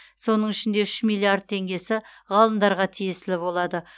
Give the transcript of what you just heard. соның ішінде үш миллиард теңгесі ғалымдарға тиесілі болады